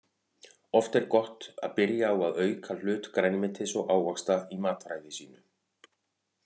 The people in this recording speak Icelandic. Oft er gott að byrja á að auka hlut grænmetis og ávaxta í mataræði sínu.